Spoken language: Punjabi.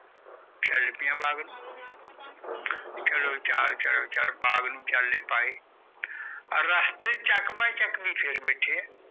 ਚਲ ਪਿਆ ਬਾਗ ਨੂੰ ਚਲੋ ਚਾਲ ਚਲ ਚਲ ਬਾਗ ਨੂੰ ਚਾਲੇ ਪਾਏ ਬਾਏ ਚੱਕ ਫਰ ਬੈਠੇ ਆ